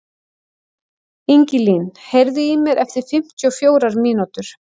Ingilín, heyrðu í mér eftir fimmtíu og fjórar mínútur.